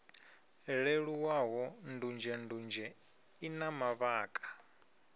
leluwaho ndunzhendunzhe i na mavhaka